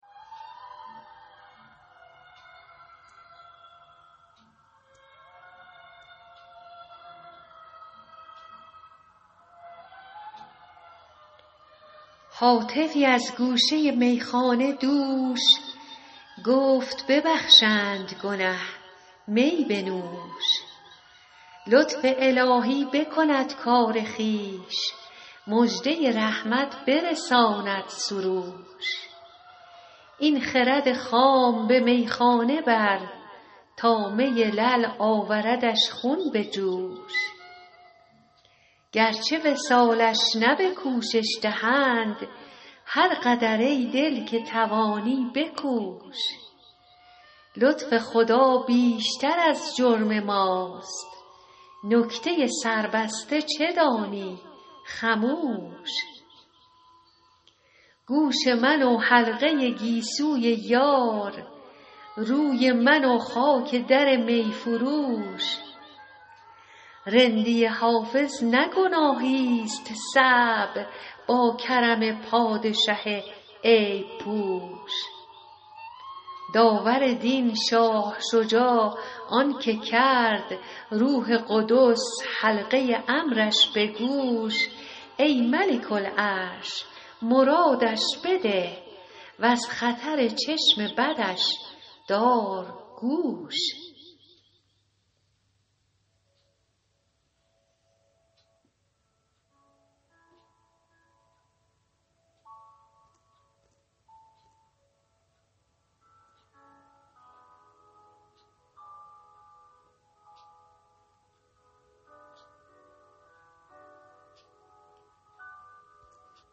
هاتفی از گوشه میخانه دوش گفت ببخشند گنه می بنوش لطف الهی بکند کار خویش مژده رحمت برساند سروش این خرد خام به میخانه بر تا می لعل آوردش خون به جوش گرچه وصالش نه به کوشش دهند هر قدر ای دل که توانی بکوش لطف خدا بیشتر از جرم ماست نکته سربسته چه دانی خموش گوش من و حلقه گیسوی یار روی من و خاک در می فروش رندی حافظ نه گناهیست صعب با کرم پادشه عیب پوش داور دین شاه شجاع آن که کرد روح قدس حلقه امرش به گوش ای ملک العرش مرادش بده و از خطر چشم بدش دار گوش